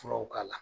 Furaw k'a la